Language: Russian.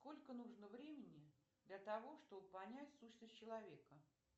сколько нужно времени для того чтобы понять сущность человека